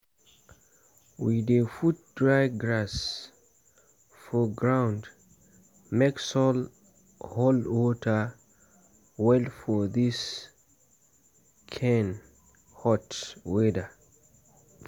we dey put dry grass for ground (mulch) make soil hold water well for this kain hot weather.